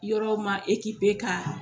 Yɔrɔ ma k'a